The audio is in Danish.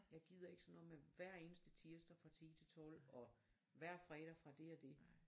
Jeg gider ikke sådan noget med hver eneste tirsdag fra 10 til 12 og hver fredag fra det og det